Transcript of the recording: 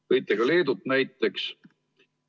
Tõite ka Leedut näiteks.